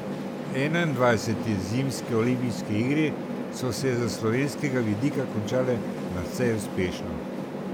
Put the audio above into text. Enaindvajsete zimske olimpijske igre so se s slovenskega vidika končale nadvse uspešno.